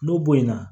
N'o bɔ in na